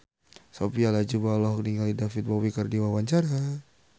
Sophia Latjuba olohok ningali David Bowie keur diwawancara